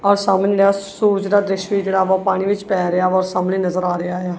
ਔਰ ਸਾਹਮਣੇ ਜਿਹੜਾ ਸੂਰਜ ਦਾ ਦ੍ਰਿਸ਼ ਵੀ ਜਿਹੜਾ ਉਹਦਾ ਪਾਣੀ ਵਿੱਚ ਪੈ ਰਿਹਾ ਵਾ ਉਹ ਸਾਹਮਣੇ ਨਜ਼ਰ ਆ ਰਿਹਾ ਹੈ।